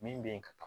Min bɛ yen ka taa